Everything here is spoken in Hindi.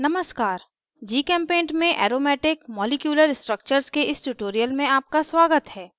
नमस्कार gchempaint में aromatic molecular structures के इस tutorial में आपका स्वागत है